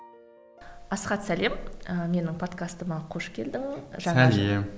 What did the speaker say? асхат сәлем і менің подкастыма қош келдің сәлем